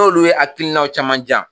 Dɔw'olu ye hakilinaw caman jan.